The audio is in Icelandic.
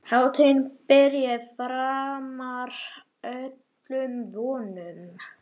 Hátíðin byrjaði framar öllum vonum.